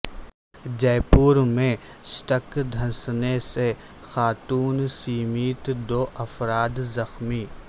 جے پور میں سڑک دھنسنے سے خاتون سمیت دو افراد زخمی